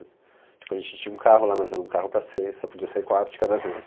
A gente tinha um carro lá, mas era um carro para seis, só podia sair quatro de cada vez.